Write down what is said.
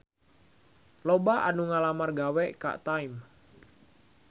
Loba anu ngalamar gawe ka Time